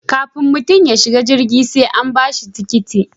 Kafin mutum ya shiga jirgi sai an ba shi tikiti